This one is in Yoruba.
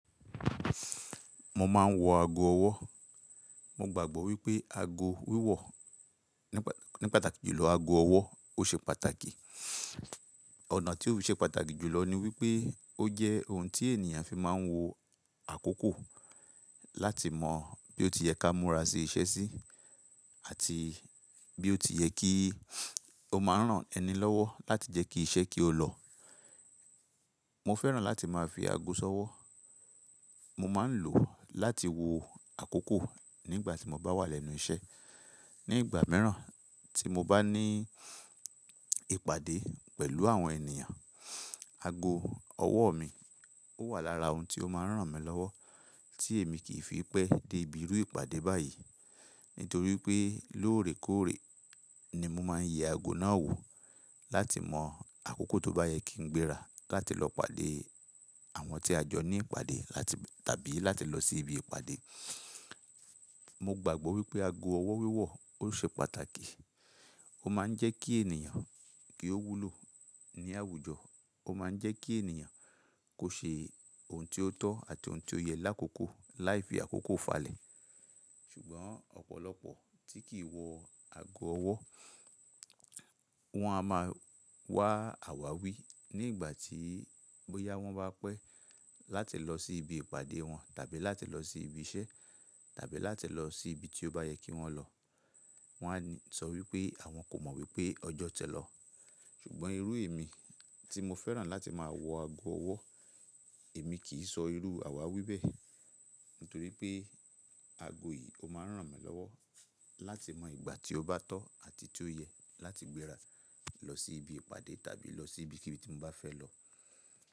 Mo máa ń wọ ago ọwọ́. Mo gbàgbọ́ wípé ago wíwọ̀ ní pàtàkì jùlọ ago ọwọ́ ó ṣe pàtàkì. Ọ̀nà tí ó fi ṣe pàtàkì jùlọ ni wípé ó jẹ́ ohun tí ènìyàn fi máa ń wo àkókò láti mọ bí ó ti yẹ ká múra sí iṣẹ́ sí àti bí ó ti yẹ kí ó máa rán ẹni lọ́wọ́ láti jẹ́ kí iṣẹ́ kí ó lọ. Mo fẹ́ràn láti máa fi ago ṣọwọ́. Mo máa ń lò ó láti wo àkókò nígbà tí mo bá wà lẹ́nu iṣẹ́. Ní ìgbà mìíràn tí mo bá ní ìpàdé pẹ̀lú àwọn ènìyàn, ago ọwọ́ mi ó wà lára ohun tí ó máa ń ràn mí lọ́wọ́ tí èmi kì í fi pé dé ibi irú ìpàdé báyìí. Nítorí pé lóòrèkóòrè ni mo máa ń yẹ ago náà wò láti mọ àkókò tó bá yẹ kí n gbéra láti lọ pàdé àwọn tí a jọ ní ìpàdé áti tàbí láti lọ sí ibi ìpàdé. Mo gbàgbọ́ wípé ago ọwọ́ wíwọ̀ ó ṣe pàtàkì. Ó máa ń jẹ́ kí ènìyàn kí ó wúlò ní àwùjọ. Ó máa ń jẹ́ kí ènìyàn kò ṣe ohun tí ó tọ́ àti ohun tí ó yẹ lákòókò láì fi àkókò falẹ̀. Ṣùgbọ́n ọ̀pọ̀lọpọ̀ tí kì í wọ ago ọwọ́, wọ́n á máa wá àwáwí nígbà tí bóyá wọ́n bá pẹ́ láti lọ sí ibi ìpàdé wọn tàbí láti lọ sí ibi iṣẹ́ tàbí láti lọ sí ibi tí ó bá yẹ kí wọ́n lọ. Wọ́n á sọ wípé àwọn kò mọ wípé ọjọ́ tilọ̀. Ṣùgbọ́n irú èmi tí mo fẹ́ràn láti máa wọ ago ọwọ́, èmi kì í sọ irú àwáwí bẹ́ẹ̀. Nítorí pé ago yìí ó máa ń ràn mí lọ́wọ́ láti mọ ìgbà tí ó bá tọ́ àti tí ó yẹ láti gbéra lọ sí ibi ìpàdé tàbí lọ sí ibi kíbi tí mo bá fẹ́ lọ.